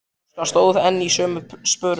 Óskar stóð enn í sömu sporum.